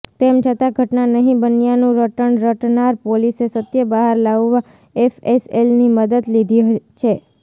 તેમ છતાં ઘટના નહી બન્યાંનું રટણ રટનાર પોલીસે સત્ય બહાર લાવવા એફએસએલની મદદ લીધી છે